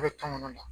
A bɛ kan kɔnɔna na